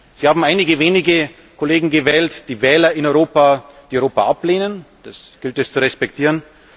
Sie haben einige wenige Kollegen gewählt, die Wähler in Europa, die Europa ablehnen, das gilt es zu respektieren.